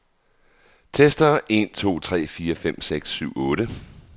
Tester en to tre fire fem seks syv otte.